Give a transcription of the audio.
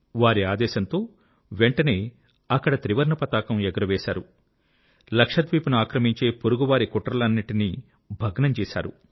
వారి ఆదేశంతో వెంటనే అక్కడ త్రివర్ణ పతాకం ఎగరవేశారు లక్షద్వీప్ ను ఆక్రమించే పొరుగువారి కుట్రలనన్నిటినీ భగ్నం చేశారు